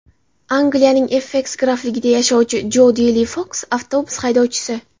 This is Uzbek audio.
Angliyaning Esseks grafligida yashovchi Jodi Li Foks avtobus haydovchisi.